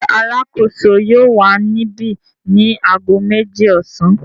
Ǹjẹ́ alákòóso yóò wà níbi ni ago méjì ọ̀sán?